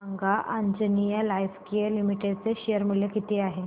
सांगा Anjaneya lifecare limited चे share मूल्य किती आहे